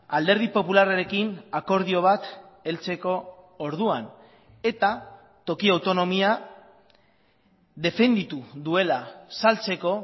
alderdi popularrarekin akordio bat heltzeko orduan eta toki autonomia defenditu duela saltzeko